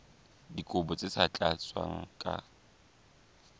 dikopo tse sa tlatswang ka